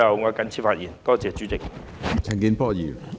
我謹此陳辭，多謝主席。